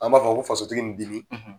An b'a fɔ ko fasotigi ni dimi,